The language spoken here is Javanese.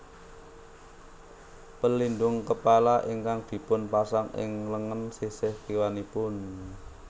Pelindung kepala ingkang dipun pasang ing lengen sisih kiwanipun